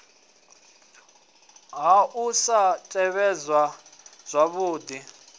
ha u sa tevhedzwa zwavhudi